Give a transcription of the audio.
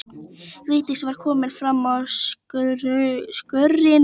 Vigdís var komin fram á skörina.